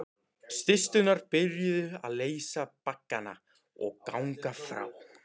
Systurnar byrjuðu að leysa baggana og ganga frá.